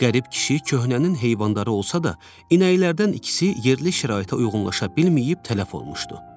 Qərib kişi köhnənin heyvanları olsa da, inəklərdən ikisi yerli şəraitə uyğunlaşa bilməyib tələf olmuşdu.